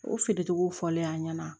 O feere cogow fɔlen ɲɛna